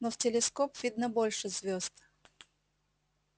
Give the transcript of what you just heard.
но в телескоп видно больше звёзд